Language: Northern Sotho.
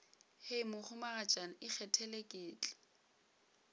hei mohumagatšana ikgethele ke tla